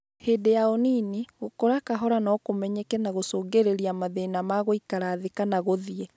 Hĩndĩ ya ũnini, gũkũra kahora no kũmenyeke na gũcũngĩrĩria mathĩna ma gũikara thĩ kana gũthiĩ.